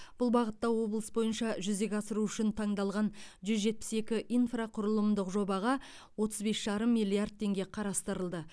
бұл бағытта облыс бойынша жүзеге асыру үшін таңдалған жүз жетпіс екі инфрақұрылымдық жобаға отыз бес жарым миллиард теңге қарастырылды